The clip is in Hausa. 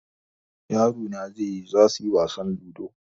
yaro na zaiyi zasuyi wasan ludo